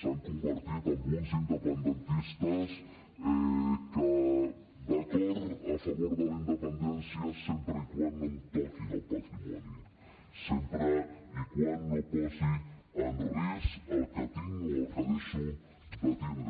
s’han convertit en uns independentistes que d’acord a favor de la independència sempre que no em toquin el patrimoni sempre que no posi en risc el que tinc o el que deixo de tindre